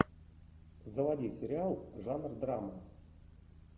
заводи сериал жанр драма